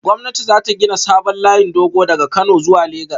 Gwamnati za ta gina sabon layin dogo daga Kano zuwa Legas